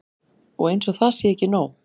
Og eins og það sé ekki nóg.